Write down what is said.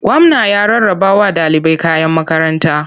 Gwamna ya rarrabawa ɗalibai kayan makaranta.